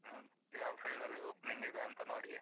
ಹ್ಮ್ ಯಾವ field ಅಲ್ಲಿ opening ಇದೆ ಅಂತ ನೋಡಿ.